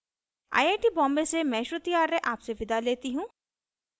I I T Bombay से मैं श्रुति आर्य आपसे विदा लेती हूँ